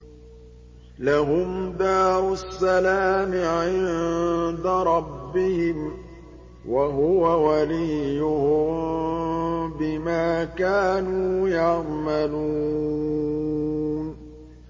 ۞ لَهُمْ دَارُ السَّلَامِ عِندَ رَبِّهِمْ ۖ وَهُوَ وَلِيُّهُم بِمَا كَانُوا يَعْمَلُونَ